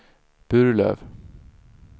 Burlöv